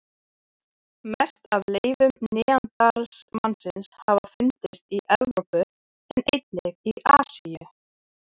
Mest af leifum neanderdalsmannsins hafa fundist í Evrópu en einnig í Asíu.